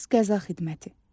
Qaz qəza xidməti.